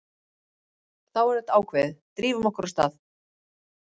Þá er þetta ákveðið, drífum okkur af stað.